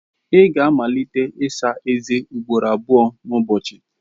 Ị ga-amalite ịsa eze ugboro abụọ n'ụbọchị.